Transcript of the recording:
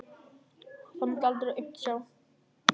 Hún mátti aldrei aumt sjá.